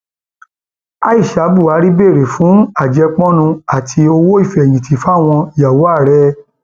aisha buhari béèrè fún àjẹpọnu àti owó ìfẹyìntì fáwọn ìyàwó ààrẹ